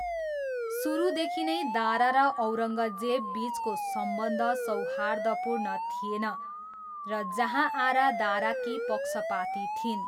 सुरुदेखि नै दारा र औरङ्गजेबबिचको सम्बन्ध सौहार्दपूर्ण थिएन र जहाँआरा दाराकी पक्षपाती थिइन्।